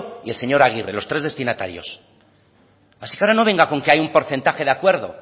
y el señor aguirre los tres destinatarios así que ahora no venga con que hay un porcentaje de acuerdo